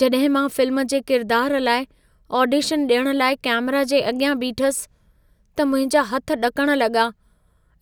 जॾहिं मां फ़िल्म जे किरिदार लाइ आडीशनु ॾियण लाइ कैमेरा जे अॻियां बीठसि, त मुंहिंजा हथ ॾकण लॻा